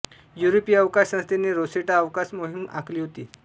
युरोपीय अवकाश संस्थेने रोसेटा अवकाश मोहिम आखली होती